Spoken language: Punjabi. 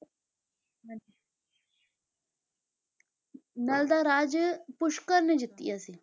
ਨਲ ਦਾ ਰਾਜ ਪੁਸ਼ਕਰ ਨੇ ਜਿੱਤਿਆ ਸੀ।